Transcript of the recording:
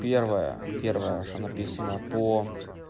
первое первое что написано по